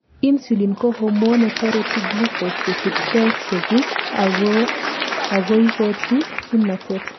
insulin ko hormone netoreti glucose kochut cells cheguk agoikochi kimnatet